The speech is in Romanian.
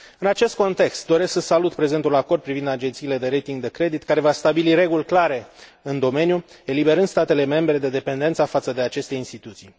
În acest context, doresc să salut prezentul acord privind agențiile de rating de credit, care va stabili reguli clare în domeniu, eliberând statele membre de dependența față de aceste instituții.